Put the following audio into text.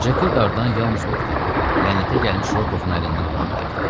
Ceki dardan yalnız o qutara, lənətə gəlmiş Rokovun əlindən ala bilərdi.